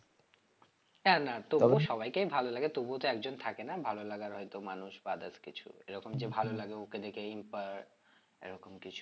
না না সবাইকেই ভালো লাগে তবুও তো একজন থাকে না ভালো লাগার হয়তো মানুষ বা others কিছু এরকম যে ভালো লাগে ওকে দেখে inspire এরকম কিছু